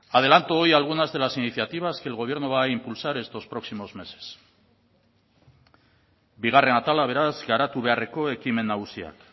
adelanto hoy algunas de las iniciativas que el gobierno va a impulsar estos próximos meses bigarren atala beraz garatu beharreko ekimen nagusiak